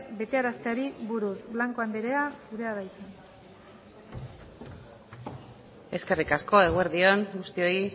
betearazteari buruz blanco andrea zurea da hitza eskerrik asko eguerdi on guztioi